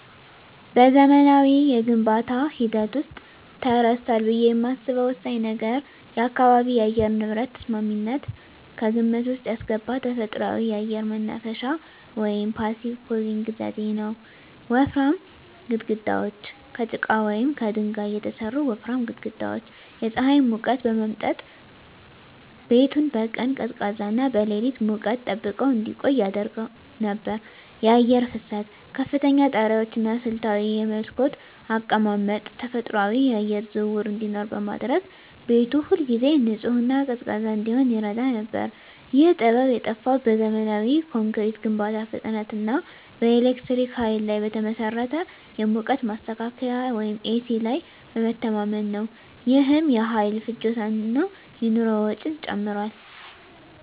በዘመናዊው የግንባታ ሂደት ውስጥ ተረስቷል ብዬ የማስበው ወሳኝ ነገር የአካባቢ የአየር ንብረት ተስማሚነትን ከግምት ውስጥ ያስገባ ተፈጥሯዊ የአየር ማናፈሻ (Passive Cooling) ዘዴ ነው። ወፍራም ግድግዳዎች: ከጭቃ ወይም ከድንጋይ የተሠሩ ወፍራም ግድግዳዎች የፀሐይን ሙቀት በመምጠጥ ቤቱን በቀን ቀዝቃዛና በሌሊት ሙቀት ጠብቀው እንዲቆይ ያደርጉ ነበር። የአየር ፍሰት: ከፍተኛ ጣሪያዎች እና ስልታዊ የመስኮት አቀማመጥ ተፈጥሯዊ የአየር ዝውውር እንዲኖር በማድረግ ቤቱ ሁልጊዜ ንጹህና ቀዝቃዛ እንዲሆን ይረዳ ነበር። ይህ ጥበብ የጠፋው በዘመናዊ ኮንክሪት ግንባታ ፍጥነት እና በኤሌክትሪክ ኃይል ላይ በተመሠረተ የሙቀት ማስተካከያ (ኤሲ) ላይ በመተማመን ነው። ይህም የኃይል ፍጆታን እና የኑሮ ወጪን ጨምሯል።